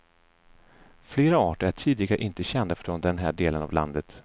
Flera arter är tidigare inte kända från den här delen av landet.